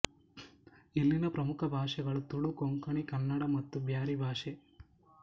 ಇಲ್ಲಿನ ಪ್ರಮುಖ ಭಾಷೆಗಳು ತುಳು ಕೊಂಕಣಿ ಕನ್ನಡ ಮತ್ತು ಬ್ಯಾರಿ ಭಾಷೆ